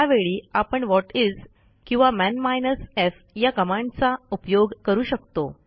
त्यावेळी आपण व्हॉटिस किंवा मन माइनस एफ या कमांडचा उपयोग करू शकतो